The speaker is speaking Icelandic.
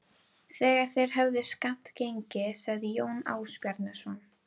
Þegar þeir höfðu skammt gengið sagði Jón Ásbjarnarson